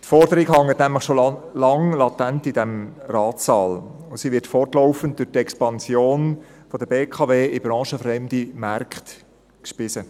Die Forderung hängt nämlich schon lange latent in diesem Ratssaal, und sie wird fortlaufend durch die Expansion der BKW in branchenfremde Märkte gespeist.